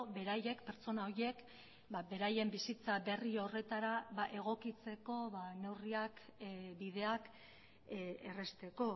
beraiek pertsona horiek beraien bizitza berri horretara egokitzeko neurriak bideak errazteko